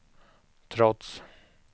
trots